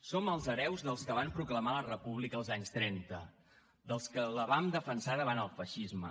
som els hereus dels que van proclamar la república als anys trenta dels que la van defensar davant el feixisme